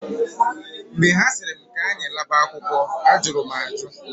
Mgbe ha sịrị m k'anyị laba akwụkwọ, ajụrụ m ajụ.